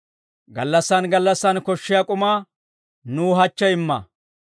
Gallassaan gallassan koshshiyaa k'umaa nuw hachche imma.